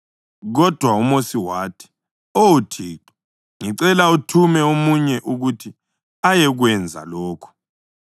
Kodwa uMosi wathi, “Oh Thixo, ngicela uthume omunye ukuthi ayekwenza lokhu.”